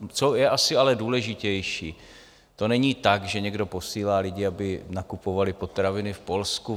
Co je asi ale důležitější, to není tak, že někdo posílá lidi, aby nakupovali potraviny v Polsku.